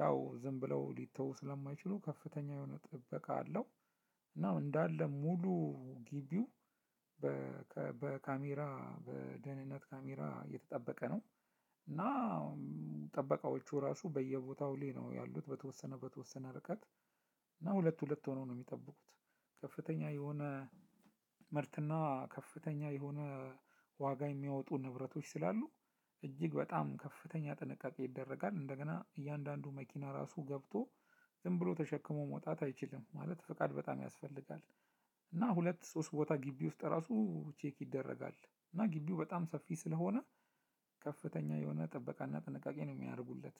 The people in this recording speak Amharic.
ያው ዝም ብለው ሊተው ስለማይችሉ ከፍተኛ የሆነ ጥበቃ አለው። እና እንዳለ ሙሉ ግቢው በካሜራ በደህንነት ካሜራ የተጠበቀ ነው። እና ጥበቃዎቹ ራሱ በየቦታው ላይ ነው ያሉት በተወሰነ በተወሰነ ርቀት። እና ሁለት ሁለት ሆነው ነው የሚጠብቁት። ከፍተኛ የሆነ ምርትና ከፍተኛ የሆነ ዋጋ የሚያወጡ ንብረቶች ስላሉ እጅግ በጣም ከፍተኛ ጥንቃቄ ይደረጋል። እንደገና እያንዳንዱ መኪና ራሱ ገብቶ ዝም ብሎ ተሸክሞ መውጣት አይችልም ማለት ፈቃድ በጣም ያስፈልጋል። እና ሁለት ሶስት ቦታ ግቢ ውስጥ ራሱ ቼክ ይደረጋል። እና ግቢው በጣም ሰፊ ስለሆነ ከፍተኛ የሆነ ጥበቃና ጥንቃቄ ነው የሚያደርጉለት።